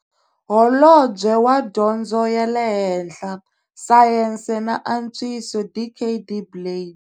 Holobye wa Dyondzo ya le Henhla, Sayense na Antswiso, Dkd Blade.